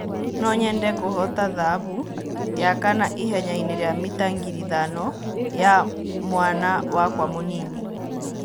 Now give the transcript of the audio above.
"No-nyende kũhoota thahabu ya kana ihenyainĩ rĩa mita ngiri ithano ya mwana wakwa mũnini."